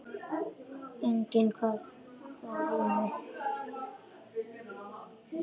Enginn kvað þó rímu.